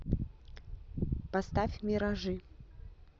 поставь миражи